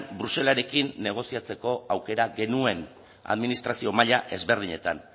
bruselarekin negoziatzeko aukera genuen administrazio maila ezberdinetan